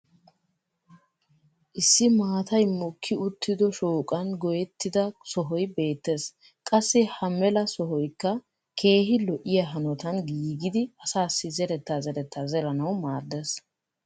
issi maatay mokki uttido shooqan goyettida sohoy beetees. qassi ha mela soykka keehi lo'iya hanotan giigidi asaassi zeretaa zeretaa zeranawu maadees.